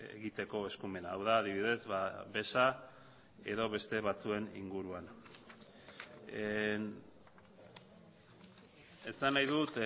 egiteko eskumena hau da adibidez beza edo beste batzuen inguruan esan nahi dut